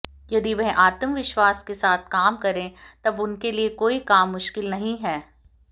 यदि वह आत्मविश्वास के साथ काम करें तब उनके लिये कोई काम मुश्किल नहीं है